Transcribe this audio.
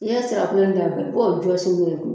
N'i ye nsira kolo i b'o jɔsi n'o ye